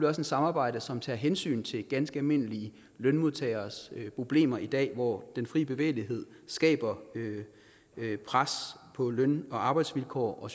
også et samarbejde som tager hensyn til ganske almindelige lønmodtageres problemer i dag hvor den frie bevægelighed skaber pres på løn og arbejdsvilkår og